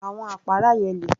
Àwọn àpárá yẹn le